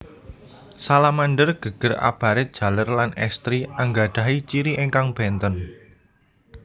Salamander geger abarit jaler lan èstri anggadhahi ciri ingkang bènten